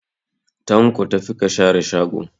Tanko, tafi ka share shago